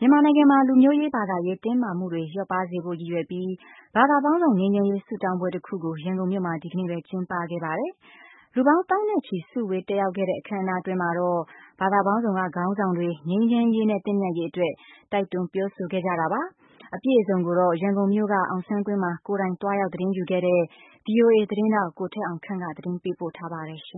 မြန်မာနိုင်ငံမှာ လူမျိုးရေး၊ ဘာသာရေး တင်းမာမှုတွေ လျော့ပါးစေဖို့ ရည်ရွယ်ပြီး ဘာသာပေါင်းစုံ ငြိမ်းချမ်းရေး ဆုတောင်းပွဲ တခုကို ရန်ကုန်မြို့မှာ ဒီကနေ့ပဲ ကျင်းပခဲ့ပါတယ်။ လူပေါင်း သောင်းနဲ့ချီ စုဝေးတက်ရောက်ခဲ့တဲ့ အခမ်းအနား အတွင်းမှာတော့ ဘာသာပေါင်းစုံက ခေါင်းဆောင်တွေ ငြိမ်းချမ်းရေးနဲ့ သင့်မြတ်ရေးအတွက် တိုက်တွန်း ပြောဆိုခဲ့ကြတာပါ။ အပြည့်အစုံကိုတော့ ကိုယ်တိုင်သွားရောက် သတင်းယူခဲ့တဲ့ ဗွီအိုအေ သတင်းထောက် ကိုထက်အောင်ခန့်က သတင်းပေးပို့ ထားပါတယ်။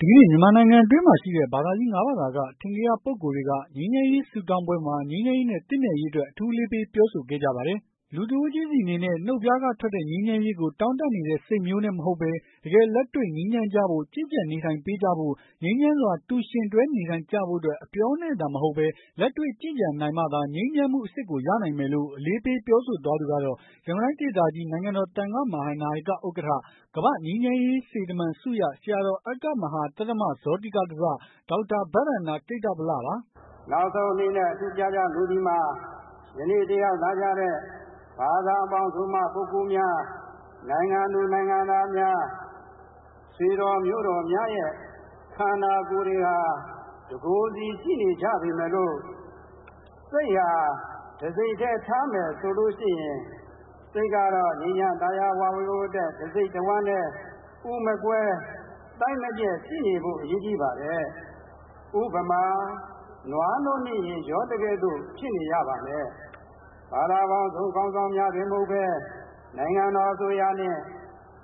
ဒီကနေ့ မြန်မာနိုင်ငံတွင်းမှာ ရှိတဲ့ ဘာသာကြီး ၅ဘာသာ ကအထင်ကရ ပုဂ္ဂိုလ်တွေက ငြိမ်းချမ်းရေးဆုတောင်းပွဲမှာ ငြိမ်းချမ်းရေးနဲ့ သင့်မြတ်ရေး အတွက် အထူးအလေးပေးပြောဆိုခဲ့ကြပါတယ်။ လူတဦးချင်းဆီ အနေနဲ့ နှုတ်ဖျားကထွက်တဲ့ ငြိမ်းချမ်းရေးကိုတောင့်တနေတဲ့ စိတ်မျိုးနဲ့ မဟုတ်ဘဲ တကယ်လက်တွေ့ငြိမ်းချမ်းကျဖို့ ကျင့်ကြံနေ ထိုင်ပေးကြဖို့ ငြိမ်းချမ်းစွာ တူယှဉ်တွဲနေထိုင်ကြဖို့အတွက် အပြောနဲ့သာမဟုတ်ဘဲ လက်တွေ့ကျင့်ကြံနိုင်မှသာ ငြိမ်းချမ်းမှုအစစ်ကိုရနိုင်မယ်လို့ အလေးပေးပြောဆိုသွားသူကတော့ ရန်ကုန်တိုင်းဒေသကြီး နိုင်ငံတော်သံဃနာယက ဥက္ကဌ ကမ္ဘာ့ငြိမ်းချမ်းရေးစေတမန်ဆုရ ဆရာတော် အဂ္ဂမ ဟာ သဒ္ဓမဇောတိကဓဇ ဒေါက်တာဘန္ဒန္တက္ကုဒ္ဓိဗလပါ။ “နောက်ဆုံးအနေနဲ့ အထူးမှာကြားလိုသည်မှာ ယနေ့တက်ရောက်လာကြတဲ့ ဘာသာပေါင်းစုံမှ ပုဂ္ဂိုလ်များ ၊ နိုင်ငံသူနိုင်ငံသားများ ဆွေတော်မျိုးတော်များရဲ့ ခန္ဓာကိုယ်တွေဟာ တကိုယ်စီရှိနေကြပေမယ့်လို့ စိတ်ဟာ တစိတ်ထဲထားမယ်ဆိုရင် စိတ်ချမ်းသာယာဝပြောဖို့အတွက် တစိတ်တဝှမ်းတဲ့ ဥမကွဲ သိုက်မပျက် ရှိနေဖို့အရေးကြီးပါတယ်။ ဥပမာ- နွားနို့နဲ့ရေ ရောသကဲ့သို့ ဖြစ်နေရပါမယ်။ ဘာသာပေါင်းစုံခေါင်းဆောင်များတင်မဟုတ်ပဲ နိုင်ငံတော်အစိုးရနဲ့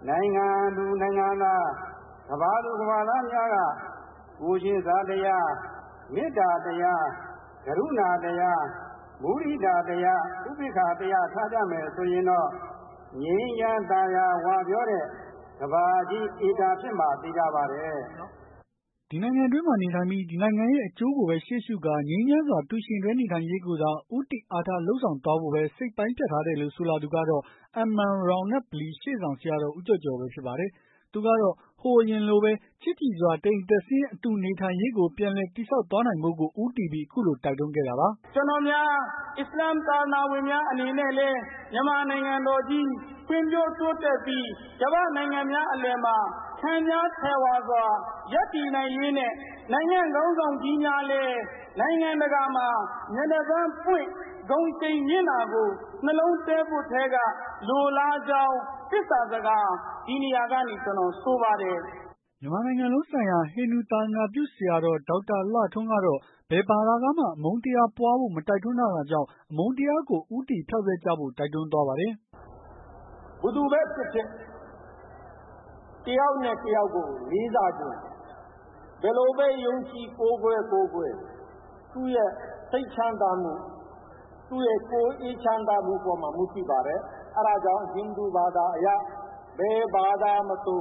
နိုင်ငံသူနိုင်ငံသား ကမ္ဘာသူ၊ ကမ္ဘာသားများက ကိုယ်ချင်းစာတရား မေတ္တာတရား ၊ ဂရုဏာတရား၊ မုဒိတာတရား၊ ဥပေက္ခာ တရား ထားကြမယ်ဆိုရင်တော့ ငြိမ်းချမ်းသာယာဝပြောတဲ့ ကမ္ဘာကြီး ဧကန်ဖြစ်မှာသေချာပါတယ်။” ဒီနိုင်ငံတွင်းနေထိုင်ပြီး ဒီနိုင်ငံရဲ့ အကျိုးကိုဘဲ ရှေးရှုကာ ငြိမ်းချမ်းစွာတူယှဉ်တွဲနေနိုင်ရေးကိုသာ ဦးတည်အားထားလုပ်ဆောင်သွားဖို့ဘဲ စိတ်ပိုင်း ဖြတ်ထားတယ်လို့ ဆိုလာသူကတော့ MM ရောင်နက် ဗလီ၊ ရှေ့ဆောင်ဆရာတော် ဦးကျော်ကျော်ဘဲဖြစ်ပါတယ်။ သူကတော့ ဟိုးအရင်လိုဘဲ ချစ်ကြည်စွာ တအိမ်တက်ဆင်းတူနေထိုင်ရေးကို ပြန်လည်တည်ဆောက်သွားနိုင်ဖို့ကို ဦးတည်ပြီး အခုလိုတိုက်တွန်းခဲ့တာပါ။ “ကျနော်များ အစ္စလာမ်ဘာသာဝင်များအနေနဲ့ကတော့ မြန်မာနိုင်ငံတော်ကြီး ဖွံ့ဖြိုးတိုးတက်ပြီး ကမ္ဘာနိုင်ငံများအလယ်မှာ ခန့်ညားထည်ဝါစွာ ရပ်တည်နိုင်ရေးနဲ့ နိုင်ငံ့ခေါင်းဆောင်ကြီးများလည်း နိုင်ငံတကာမှာ မျက်နှာပန်ပွင့် ဂုဏ်ရှိန်မြင့်တာကို နှလုံးထဲက လိုလားကြောင်း သေစ္စာစကား ဒီနေရာကနေဆိုပါတယ်။” မြန်မာနိုင်ငံလုံးဆိုင်ရာ ဟိန္ဒူသာသနပြုဆရာတော် ဒေါက်တာလှထွန်းကတော့ ဘယ်ဘာသာကမှ အမုန်းတရားပွားဖို့မတိုက်တွန်းထားတာကြောင့် အမုန်းတရားကို ဦးတည်ဖယ်ဖျောက်ကြဖို့ တိုက်တွန်းသွားပါတယ်။ “ဘယ်သူပဲဖြစ်ဖြစ် တယောက်နဲ့တယောက်ကို လေးစားချင်း၊ ဘယ်လိုပဲ ယုံကြည်ကိုးကွယ်ကိုးကွယ် သူ့ရဲ့စိတ်ချမ်းသာမှု၊ သူ့ရဲ့ကိုယ်အေးချမ်းသာမှုအပေါ်မှာ မူတည်ပါတယ်။ အဲဒါကြောင့်ဟိန္ဒူဘာသာအရ ဘယ်ဘာသာမဆို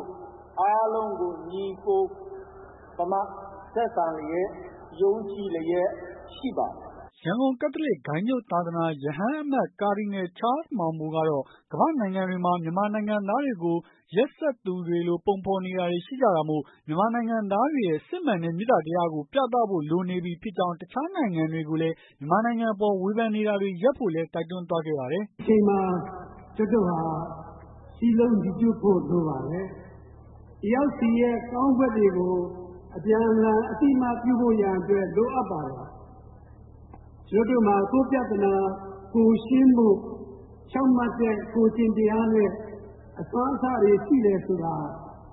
အားလုံးကို ညီအကိုပမာဆက်ဆံလျက် ယုံကြည်လျက်ရှိပါတယ်။” ရန်ကုန်ကက်သလစ်ဂိုဏ်းချုပ်သာသနာ ရဟန်းအမတ်ကာဒီနယ် ချားမောင်ဘိုကတော့ ကမ္ဘာ့နိုင်ငံတွေမှာ မြန်မာနိုင်ငံသားတွေကို ရက်စက်သူ တွေလိုပုံဖော်နေတာတွေရှိနေကြတာမို့ မြန်မာနိုင်ငံသားတွေရဲ့ စစ်မှန်တဲ့မေတ္တာတရားကို ပြသဖို့လိုနေပြီဖြစ်ကြောင်း တခြားနိုင်ငံတွေကိုလည်း မြန်မာနိုင်ငံအပေါ်ဝေဖန်နေတာတွေရပ်ဖို့လည်း တိုက်တွန်းသွားခဲ့ပါတယ်။ “ဒီအချိန်မှာ ကျနော်တို့ဟာ စည်းလုံးညီညွတ်ဖို့လိုပါတယ်။ တယောက်ဆီအတွက် ကောင်းမှုတွေကို အပြန်အလှန်အသိအမှတ်ပြုဖို့ရန်အတွက် လိုအပ်ပါတယ်။ ကျနော်တို့မှာ ကိုယ့်ပြဿနာ ကိုယ်ရှင်းဖို့ ဖြောင့်မှတ်တဲ့ ကိုယ်ကျင့်တရားနဲ့ အစွမ်းအစတွေ ရှိတယ်ဆိုတာ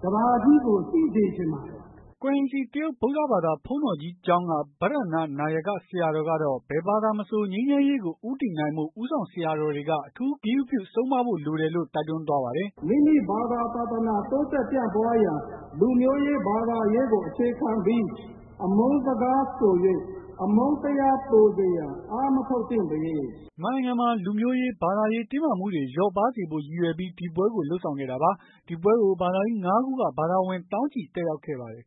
ကမ္ဘာကြီးကို သိစေချင်ပါတယ်။” ကွမ်ရင်စီ တရုတ်ဗုဒ္ဓဘာသာ ဘုန်းတော်ကြီးကျောင်းက ပဓာနနာယကဆရာတော်ကတော့ ဘယ်ဘာသာမဆို ငြိမ်းချမ်းရေးကို ဦးတည်နိုင်ဖို့ ဦးဆောင်ဆရာတော်တွေက အထူးဂရုပြု ဆုံးမဖို့လိုတယ်လို့ တိုက်တွန်းသွားပါတယ်။ “မိမိဘာသာ သာသနာ တိုးတက်ပြန့်ပွားရန် လူမျိုးရေးဘာသာရေးကိုအခြေခံပြီး အမုန်းစကားဆို၍ အမုန်းတရားပိုစေရန်အားမထုတ်သင့်ပေ။” မြန်မာနိုင်ငံမှာ လူမျိုးရေး၊ ဘာသာရေး တင်းမာမှုတွေ လျော့ပါးစေဖို့ ရည်ရွယ်ပြီးဒီပွဲကို လုပ်ဆောင်ခဲ့တာပါ။ ဒီပွဲကို ဘာသာကြီး ၅ခုက ဘာသာဝင်သောင်းချီတက်ရောက်ခဲ့ပါတယ်